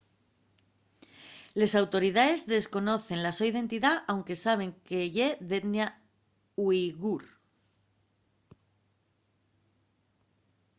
les autoridaes desconocen la so identidá anque saben que ye d'etnia uighur